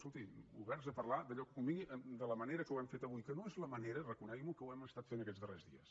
escolti oberts a parlar d’allò que convingui de la manera que ho hem fet avui que no és la manera reconegui’m ho que ho hem estat fent aquests darrers dies